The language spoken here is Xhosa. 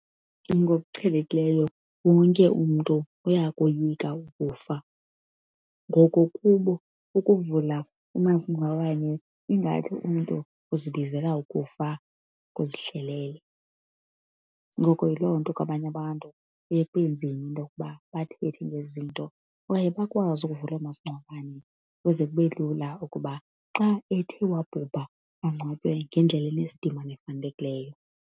Ngokuqhelekileyo wonke umntu uyakoyika ukufa. Ngoko kubo, ukuvula umasingcwabane ingathi umntu uzibizela ukufa kuzihlelele. Ngoko yiloo nto kwabanye abantu kuye kube nzima into yokuba bathethe ngezi zinto kwaye bakwazi ukuvula oomasingcwabane ukuze kube lula ukuba xa ethe wabhubha angcwatywe ngendlela enesidima nefanelekileyo.